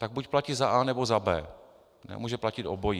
Tak buď platí za A, nebo za B. Nemůže platit obojí.